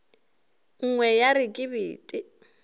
nngwe ya re ke bete